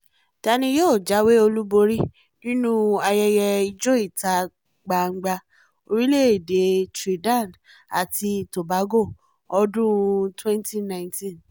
ta ni yóò jáwé olúborí nínú ayẹyẹ ìjọ ìta-gbangba orílẹ̀-èdè trinidad àti tobago ọdún-un 2019